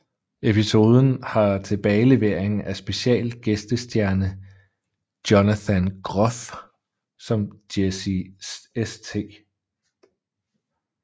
Episoden har tilbagelevering af special gæstestjerne Jonathan Groff som Jesse St